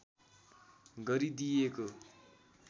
गरी दिइएको